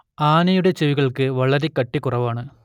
ആനയുടെ ചെവികൾക്ക് വളരെ കട്ടികുറവാണ്